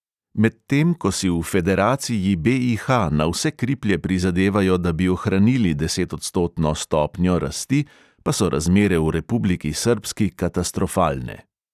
Medtem ko si v federaciji BIH na vse kriplje prizadevajo, da bi ohranili desetodstotno stopnjo rasti, pa so razmere v republiki srbski katastrofalne.